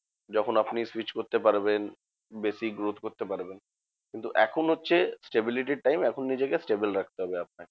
যখন আপনি switch করতে পারবেন। basic growth করতে পারবেন। কিন্তু এখন হচ্ছে stability র time এখন নিজেকে stable রাখতে হবে আপনাকে।